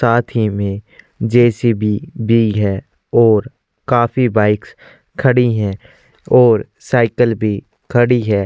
साथ ही में जेसीबी भी है और काफी बाइक्स खड़ी है और साइकिल भी खड़ी है।